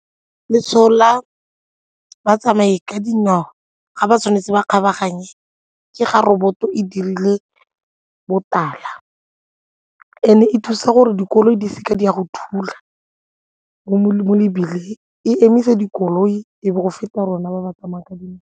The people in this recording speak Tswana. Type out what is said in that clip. Letshwao la batsamaya ka dinao ga ba tshwanetse ba kgabaganye ke ga roboto e dirile botala and e thusa gore dikoloi di seke di a go thula mo mebileng, e emisa dikoloi e be go feta rona ba ba tsamayang ka dinao.